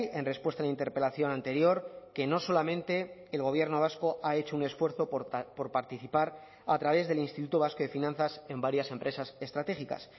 en respuesta a la interpelación anterior que no solamente el gobierno vasco ha hecho un esfuerzo por participar a través del instituto vasco de finanzas en varias empresas estratégicas